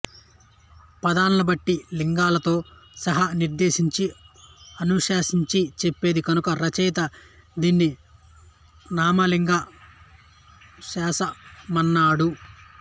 పదాల్ని వాటి లింగాలతో సహా నిర్దేశించి అనుశాసించి చెప్పేది కనుక రచయిత దీన్ని నామలింగానుశాసనమన్నాడు